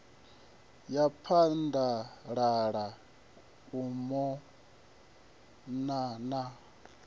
ya phaḓalala u mona na